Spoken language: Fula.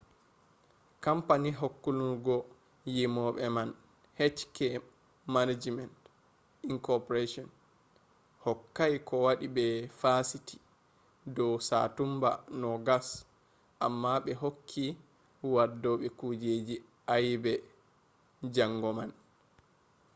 kampani hakkulungo yimobe man hk manajiment inc. hokkai kowadi be fasiti do satumba 20 amma be hokki waddobe kujeji ayebe jango man